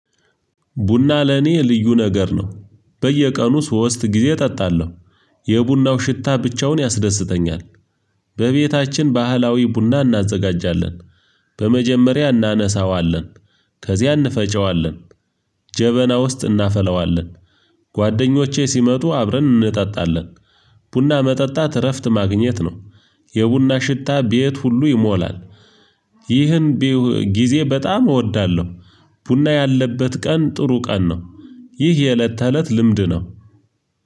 ቡና ለኔ ልዩ ነገር ነው። በየቀኑ ሶስት ጊዜ እጠጣለሁ። የቡናው ሽታ ብቻውን ያስደስተኛል። በቤታችን ባህላዊ ቡና እናዘጋጃለን። በመጀመሪያ እናነሳዋለን ከዚያ እንፈጨዋለን ጀበና ውስጥ እናፈለዋለን። ጓደኞቼ ሲመጡ አብረን እንጠጣለን። ቡና መጠጣት እረፍት ማግኘት ነው። የቡና ሽታ ቤት ሁሉ ይሞላል። ይህን ጊዜ በጣም እወዳለሁ። ቡና ያለበት ቀን ጥሩ ቀን ነው። ይህ የእለት ተእለት ልምድ ነው።